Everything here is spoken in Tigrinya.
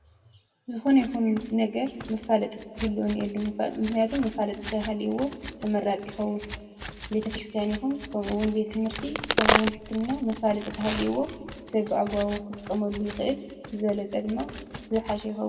ዝኾነ ይኹን ነገር መፋለጢ ክህልዎ እኒኤዎ ምኽንያቱም መፋለጢ እንድሕር ሃሊይዎ ተመራፂ ይኸውን፡፡ ቤተ-ክርስትያን ይኹን ከምኡውን ቤት ትምህርቲ ከምኡ ውን ሕክምና መፋለጢ ተሃሊዩዎ ሰብ ብኣግባቡ ክጥቀመሉ ይኽእል ብዝበለፀ ድማ ዝሓሸ ይኸውን፡፡